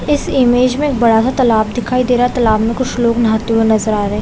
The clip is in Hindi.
इस इमेज में बड़ा-सा तालाब दिखाई दे रहा है तालाब में कुछ लोग नहाते हुए नज़र आ रहे है।